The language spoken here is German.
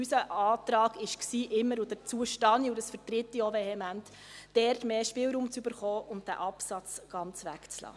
Unser Antrag war immer – dazu stehe ich und dies vertrete ich auch vehement –, dort mehr Spielraum zu bekommen und den Absatz ganz wegzulassen.